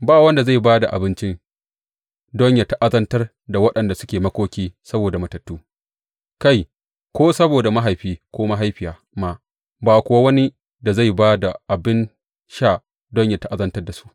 Ba wanda zai ba da abinci don yă ta’azantar da waɗanda suke makoki saboda matattu, kai, ko saboda mahaifi ko mahaifiya ma ba kuwa wani da zai ba da abin sha don yă ta’azantar da su.